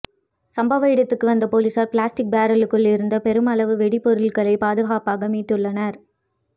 சம்பவ இடத்திற்கு வந்த பொலிஸாா் பிளாஸ்டிக் பரலுக்குள் இருந்து பெருமளவு வெடிபொருட்களை பாதுகாப்பாக மீட்டுள்ளனா்